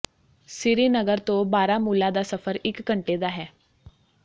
ਸ੍ਰੀਨਗਰ ਤੋਂ ਬਾਰਾਮੂਲਾ ਦਾ ਸਫਰ ਇੱਕ ਘੰਟੇ ਦਾ ਹੈ